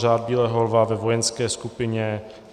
Řád bílého lva - ve vojenské skupině